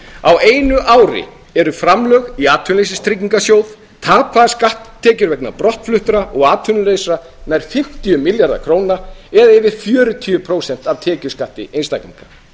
á einu ári eru framlög í atvinnuleysistryggingasjóð tapaðar skatttekjur vegna brottfluttra og atvinnulausra nær fimmtíu milljarðar króna það er yfir fjörutíu prósent af tekjuskatti einstaklinga